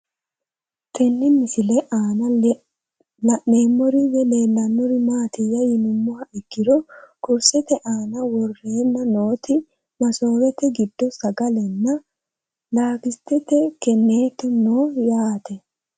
Tenne misile aanna la'neemmori woyi leelannori maattiya yinummoha ikkiro kurisette aanna woroonna nootti masoowette giddo sagale nna lakitete keneetto noo yaatte